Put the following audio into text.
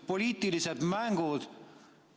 Poliitilised mängud.